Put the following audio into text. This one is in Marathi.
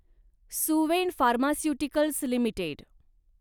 Suven pharmaceuticals limited